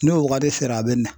N'o wagati sere a bɛ na .